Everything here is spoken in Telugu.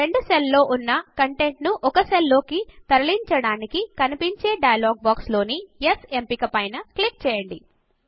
రెండు సెల్ లలో ఉన్న కంటెంట్ ను ఒక సెల్ లోకి తరలించడానికి కనిపించే డయలాగ్ బాక్స్ లోని యెస్ ఎంపిక పైన క్లిక్ చేయండి